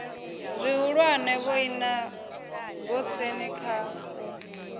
zwihulwane vhoina goosen kha u